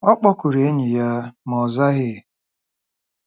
Ọ kpọkuru enyi ya, ma ọ zaghị.